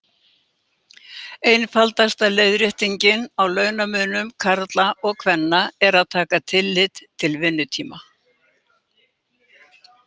Einfaldasta leiðréttingin á launamun karla og kvenna er að taka tillit til vinnutíma.